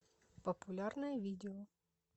популярное видео